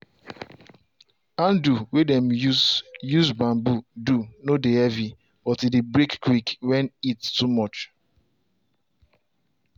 handle way dem use use bamboo do no dey heavy but e dey break quick when heat too much.